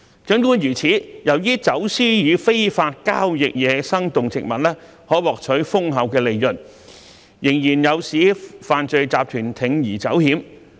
儘管如此，由於走私與非法交易野生動植物可獲取豐厚的利潤，仍有犯罪集團不惜鋌而走險。